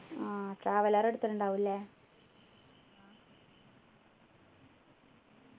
ആഹ് traveller എടുത്തിട്ടുണ്ടാവും ല്ലേ